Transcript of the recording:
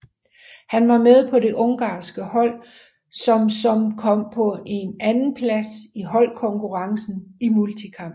Han var med på det ungarske hold som som kom på en andenplads i holdkonkurrencen i multikamp